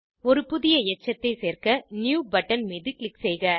ஒரு புதிய எச்சத்தை சேர்க்க நியூ பட்டன் மீது க்ளிக் செய்க